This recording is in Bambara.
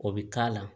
O bɛ k'a la